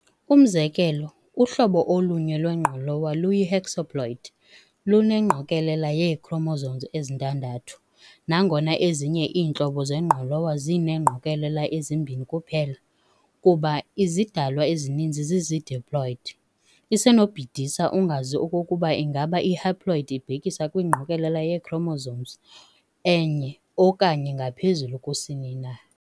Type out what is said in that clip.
Umzekelo, uhlobo olunye lwengqolowa luyi-hexaploid, luneengqokolela yee-chromosomes ezintadathu, nangona ezinye iintlobo zengqolowa zineengqokolela ezimbini kuphela. Kuba izidalwa ezininzi zizi-diploid, isenobhidisa ungazi okokuba ingaba i-haploid ibhekisa kwingqokolela yee-chromosomes enye okanye ngaphezulu kusini na.